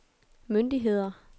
myndigheder